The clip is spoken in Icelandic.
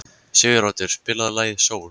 Siguroddur, spilaðu lagið „Sól“.